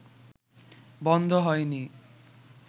বন্ধ হয় নি